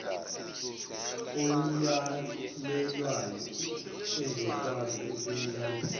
oyalelwayo ezokwazi ukuyilandela